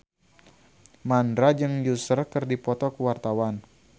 Mandra jeung Usher keur dipoto ku wartawan